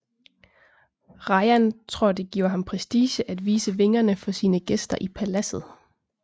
Rajan tror det giver ham prestige at vise vingerne for sine gæster i paladset